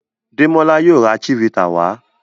Demola yíò rà chivita wa.